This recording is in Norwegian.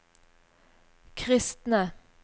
kristne